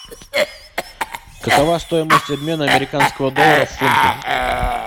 какова стоимость обмена американского доллара в фунты